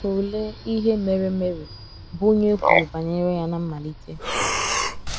Tụlee ihe mere Mary, bụ́ onye e kwuru banyere ya ná mmalite.